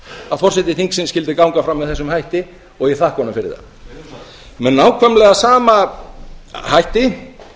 að forseti þingsins skyldi ganga fram með þessum hætti og ég þakka honum fyrir það með nákvæmlega sama hætti